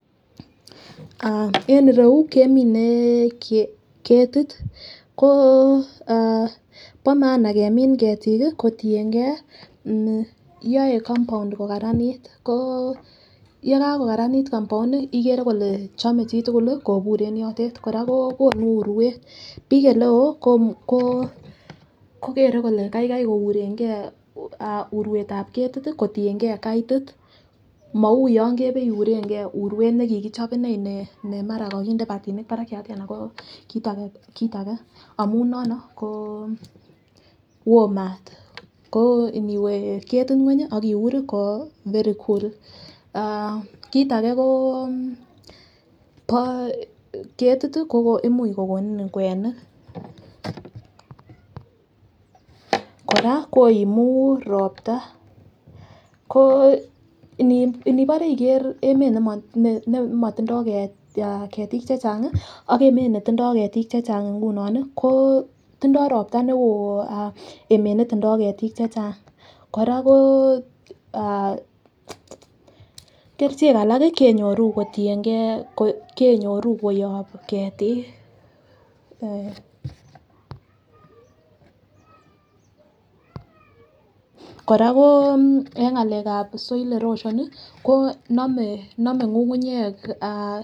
Aah en irou kemine ketit ko ah bo maana kemin ketik kii kotiyengee yoe compound ko karanit ko yekako karanit compound nii ikere kole chome chitukul lii kobur en yotet kora ko konu uruet. Bik ole ko kokere kole Kai Kai kourengee uruetab ketit tii kotiyengee katit mou yon kebeiurengee uruet nekikichop inee nemara kokinde kipatinik barakiat tii ana ko kit age amun nono ko woo maat ko iniwee ketit ngwenyi ak iuri ko very cool ah kit age ko bo ketit ko imuch kokonin kwenik. Koraa koimu ropta, inibore iker emet nemotindo ketik chechangi ak emet netindo ketik chechang ingunon nii ko tindoropta neo emet netindo ketik chechang Koraa ko ah kerichek alak kenyoru kotiyengee, kenyoru kuyob ketik eh. Koraa ko en ngalekab soil erosion nii ko nome ngungunyek aah.